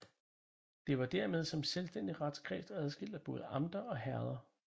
De var dermed som selvstændig retskreds udskilt af både amter og herreder